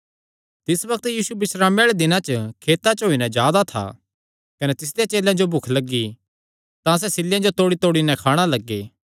तिस बग्त यीशु बिस्रामे आल़े दिन खेतां च होई नैं जा दा था कने तिसदेयां चेलेयां जो भुख लग्गी तां सैह़ सिल्लेयां तोड़ीतोड़ी नैं खाणा लग्गे